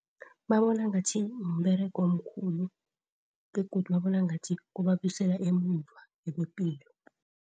Babona ngathi mberego omkhulu begodu babona ngathi kubabuyisela emuva ngepilo.